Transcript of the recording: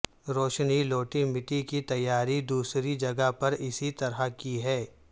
روشنی لوٹی مٹی کی تیاری دوسری جگہ پر اسی طرح کی ہے